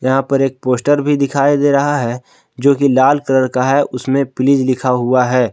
यहां पर एक पोस्टर भी दिखाई दे रहा है जो की लाल कलर का है। उसमें प्लीज लिखा हुआ है।